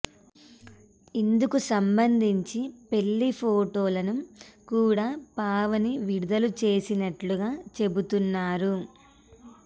ఇందుకు సంబంధించి పెళ్లి ఫోటోలను కూడా పావని విడుదల చేసినట్లుగా చెబుతున్నారు